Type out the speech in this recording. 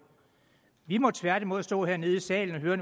vi må tværtimod stå hernede i salen og høre